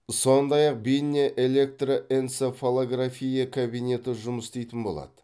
сондай ақ бейне электроэнцефалография кабинеті жұмыс істейтін болады